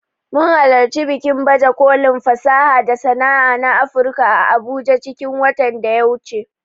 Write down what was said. Mun halarci bikin baje kolin fasaha da sana'a na Afurka a abuja cikin watan da ya wuce